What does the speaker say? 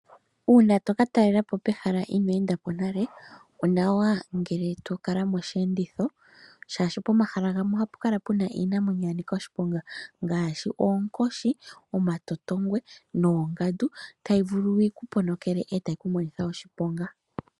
Uuna to ka talela po pehala inoo enda po nale, onawa ngele to kala mosheenditho, oshoka pomahala gamwe ohapu kala pu na iiyamakuti ya nika oshiponga ngaashi oonkoshi, omatotongwe noongandu tayi vulu yi ku ponokele e tayi ku monitha oshiponga.